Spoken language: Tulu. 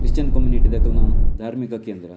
ಕ್ರಿಶ್ಚಿಯನ್ ಕಮ್ಯುನಿಟಿದಕ್ಲೆನ ಧಾರ್ಮಿಕ ಕೇಂದ್ರ.